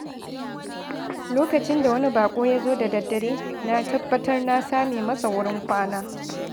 Lokacin da wani baƙo ya zo da daddare, na tabbatar na same masa wurin kwana.